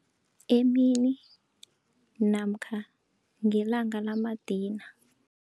Emini namkha ngelanga lamadina.